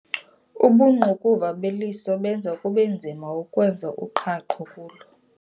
Ubungqukuva beliso benza kubenzima ukwenza uqhaqho kulo.